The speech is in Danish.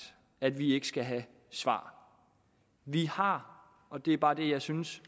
at vi ikke skal have svar vi har og det er bare det jeg synes